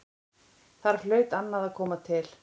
Þar hlaut annað að koma til.